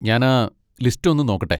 ഞാനാ ലിസ്റ്റൊന്ന് നോക്കട്ടെ.